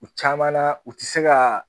U caman na u ti se ka